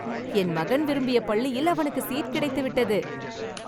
என் மகன் விரும்பிய பள்ளியில் அவனுக்குச் சீட் கிடைத்துவிட்டது